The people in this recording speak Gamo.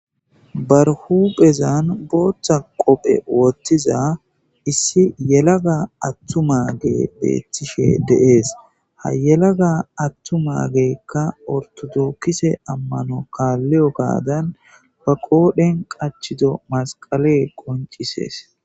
barhuphezan booththa qophe wottiza issi yelaga attumagee beettishe deees ha yelaga attumageekka ortodookise ammano kaalliyo gaadan fa qoodhen qachido masqale qoncisees